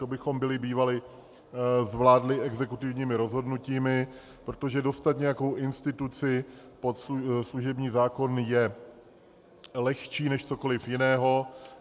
To bychom byli bývali zvládli exekutivními rozhodnutími, protože dostat nějakou instituci pod služební zákon je lehčí než cokoliv jiného.